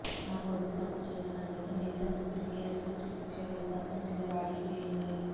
నా కొడుకు తప్పు చేసినట్లయితే మిగతా ముగ్గురికి ఎసుంటి శిక్ష వేస్తే అసుంటిదే వాడికి వేయుండ్రి